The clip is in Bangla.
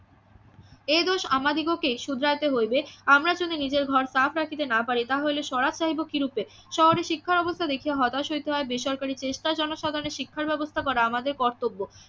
এ দোষ আমাদিগকে শুধরাইতে হইবে আমরা যদি নিজের ঘর সাফ রাখতে না পারি তাহলে স্বরাজ চাইব কিরুপে? শহরের শিক্ষা ব্যবস্থা দেখিতে হতাশ হইতে হয় বেসরকারিতে জনসাধারণের শিক্ষা ব্যবস্থা করা আমদের কর্তব্য